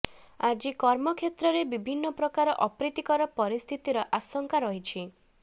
ଆଜି କର୍ମକ୍ଷେତ୍ରରେ ବିଭିନ୍ନ ପ୍ରକାର ଅପ୍ରୀତିକର ପରିସ୍ଥିତିର ଆଶଙ୍କା ରହିଛି